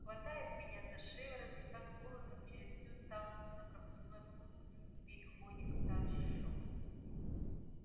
хватает меня за шиворот и так волоком через всю станцию на пропускной пункт в переходе к старшому